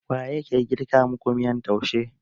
Waye ke girka maku miyan taushe?